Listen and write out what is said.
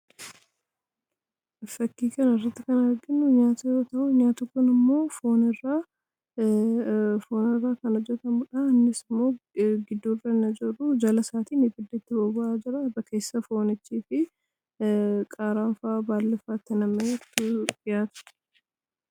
fakkii kana irratti kan arginu nyaata yoo ta'uu nyaati kun immoo foonirraa kan hojjatamudha. innis immoo gidduu irraan ajooruu jala isaatiin ibiddatu boba'aa jira. irra keessaan foonichii fi qaaraanfaa baallifaa itti nam'eetu dhi'aata.